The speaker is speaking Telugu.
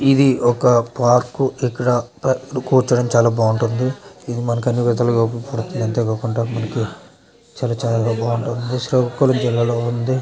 ఇది ఒక పార్క్ . ఇక్కడ కూర్చోవడం చాలా బాగుంటుంది. ఇది మనకి అన్ని విధాలుగా ఉపయోగపడుతుంది. అంతే కాకుండా మనకి చాలా చాలా బాగుంటుంది. శ్రీకాకుళం జిల్లాలో ఉంది.